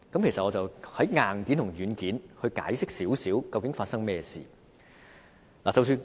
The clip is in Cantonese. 我想從硬件及軟件來解釋究竟發生何事。